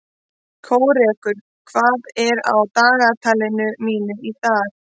Kórekur, hvað er á dagatalinu mínu í dag?